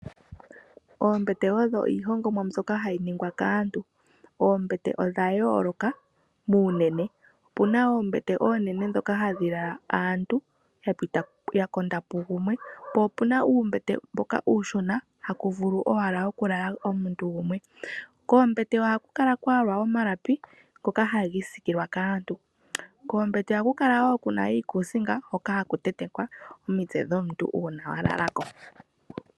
Oombete odho iihongomwa mbyoka hayi ningwa kaantu. Oombete odha yooloka muunene, opuna oombete dhoka oonene hadhi lala aantu ya konda pu gumwe. Po opuna uumbete mboka uushona haku vulu owala okulala omuntu gumwe. Koombete ohaku kala kwa yalwa omalapi ngoka haga isikilwa kaantu. Koombete ohaku kala kuna wo iikusinga hoka haku tentekwa omitse dbomuntu, uuna wa lala ko.